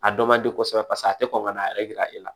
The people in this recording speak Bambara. A dɔ man di kosɛbɛ paseke a tɛ kɔn ka n'a yɛrɛ yira e la